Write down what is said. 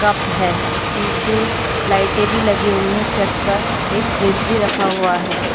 Cup है पीछे लाइटें भी लगी हुई है छत पर एक फ्रिज भी रखा हुआ है।